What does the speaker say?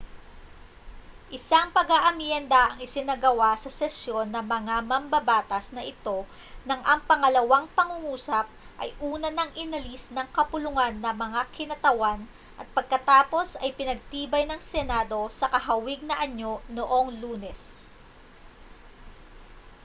isang pag-aamyenda ang isinagawa sa sesyon ng mga mambabatas na ito nang ang pangalawang pangungusap ay una nang inalis ng kapulungan ng mga kinatawan at pagkatapos ay pinagtibay ng senado sa kahawig na anyo noong lunes